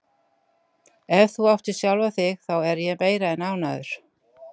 Ef þú átt við sjálfa þig þá er ég meira en ánægður